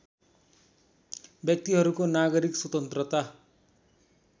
व्यक्तिहरूको नागरिक स्वतन्त्रता